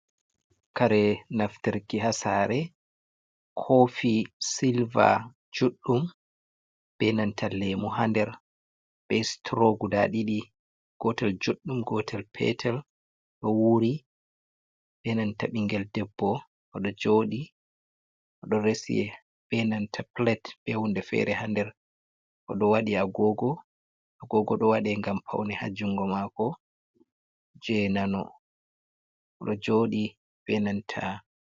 Kare naftarki hasare kofi silve juddum benantal lemu hander be stro guda ɗiɗi gotel juɗɗum gotel petel ɗo wuri. Benanta bingel debbo joɗi resi benanta plate be hunde fere hander oɗo wadi agogo do wade gam pauni ha jungo mako je nano odo jodi benanta.